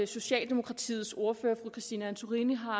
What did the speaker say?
socialdemokratiets ordfører fru christine antorini har